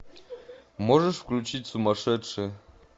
можешь включить сумасшедшие